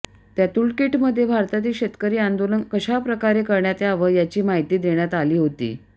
त्या टूलकिटमध्ये भारतातील शेतकरी आंदोलन कशा प्रकारे करण्यात यावं याची माहिती देण्यात आली होती